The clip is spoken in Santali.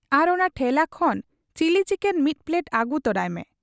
ᱟᱨ ᱚᱱᱟ ᱴᱷᱮᱞᱟ ᱠᱷᱚᱱ ᱪᱤᱞᱤ ᱪᱤᱠᱮᱱ ᱢᱤᱫ ᱯᱞᱮᱴ ᱟᱹᱜᱩ ᱛᱚᱨᱟᱭᱢᱮ ᱾